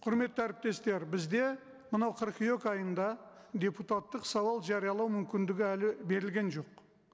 құрметті әріптестер бізде мынау қыркүйек айында депутаттық сауал жариялау мүмкіндігі әлі берілген жоқ